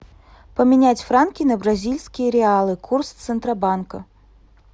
поменять франки на бразильские реалы курс центробанка